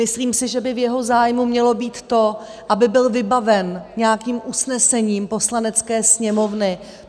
Myslím si, že by v jeho zájmu mělo být to, aby byl vybaven nějakým usnesením Poslanecké sněmovny.